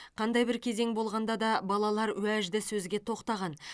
қандай бір кезең болғанда да балалар уәжді сөзге тоқтаған